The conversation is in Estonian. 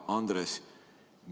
Hea Andres!